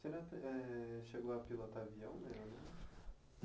Eh, chegou a pilotar avião na aeronáutica?